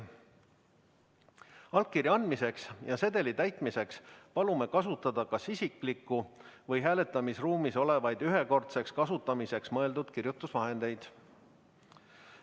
Allkirja andmiseks ja sedeli täitmiseks palume kasutada kas isiklikku või hääletamisruumis olevaid ühekordseks kasutamiseks mõeldud kirjutusvahendeid.